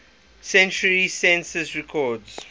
century census records